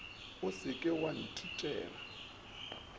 o se ke wa ntitela